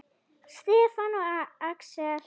Stefán og Axel.